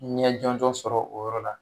Ɲɛ jɔnjɔ sɔrɔ o yɔrɔ la.